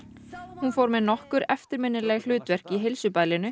hún fór með nokkur eftirminnileg hlutverk í